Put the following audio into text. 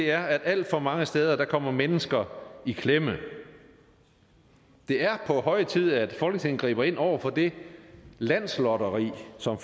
er at alt for mange steder kommer mennesker i klemme det er på høje tid at folketinget griber ind over for det landslotteri som